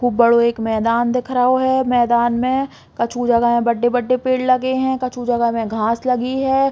खूब बड़ों एक मैदान दिख रओ है। मैदान में कछु जगह में बड़्डे-बड़्डे पेड़ लगे हुए हैं कछु जगह में घास लगी है।